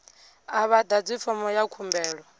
a vha ḓadzi fomo ya khumbelo